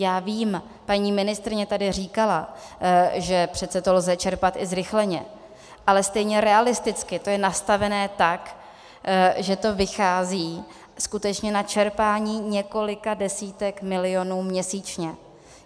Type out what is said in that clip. Já vím, paní ministryně tady říkala, že přece to lze čerpat i zrychleně, ale stejně realisticky to je nastavené tak, že to vychází skutečně na čerpání několika desítek milionů měsíčně.